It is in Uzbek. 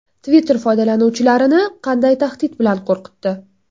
Twitter foydalanuvchilarini qanday tahdid bilan qo‘rqitdi?